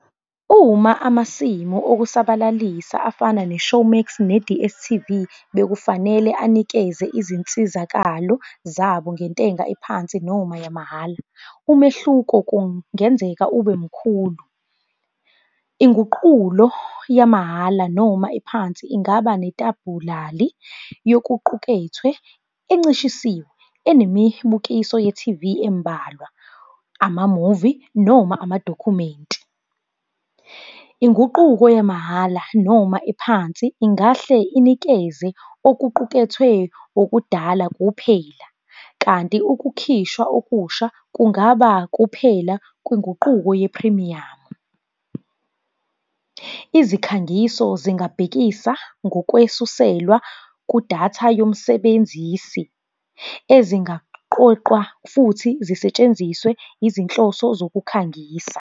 Uma amasimu okusabalalisa afana ne-Showmax ne-D_S_T_V, bekufanele anikeze izinsizakalo zabo ngentenga ephansi noma yamahhala. Umehluko kungenzeka ube mkhulu. Inguqulo yamahhala noma ephansi ingaba netabhulali yokuqukethwe, encishisiwe, enemibukiso ye-T_V embalwa, amamuvi, noma amadokhumenti. Inguquko yamahhala noma ephansi ingahle inikeze okuqukethwe okudala kuphela, kanti ukukhishwa okusha kungaba kuphela kwenguquko yephrimiyamu. Izikhangiso zingabhekisa ngokwesuselwa kudatha yomsebenzisi, ezingaqoqwa futhi zisetshenziswe izinhloso zokukhangisa.